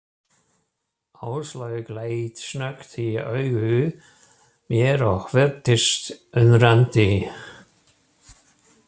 Áslaug leit snöggt í augu mér og virtist undrandi.